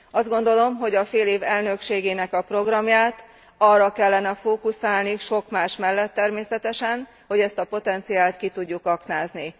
Azt gondolom, hogy a félév elnökségének a programját arra kellene fókuszálni, sok más mellett természetesen, hogy ezt a potenciált ki tudjuk aknázni.